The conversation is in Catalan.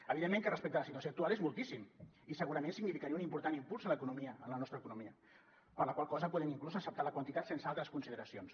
evidentment respecte a la situació actual és moltíssim i segurament significaria un important impuls a la nostra economia per la qual cosa podem inclús acceptar la quantitat sense altres consideracions